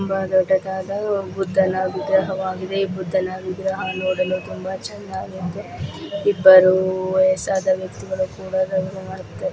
ತುಂಬಾ ದೊಡ್ಡದಾದ ಬುದ್ಧನಾಗಿದೆ ಬುದ್ಧನ ವಿಗ್ರಹವಾಗಿದೆ ನೋಡಲು ತುಂಬಾ ಚೆನ್ನಾಗಿದ್ದು ಬರುವ ವಯಸ್ಸಾದ ವ್ಯಕ್ತಿಗಳು ಕೂಡ --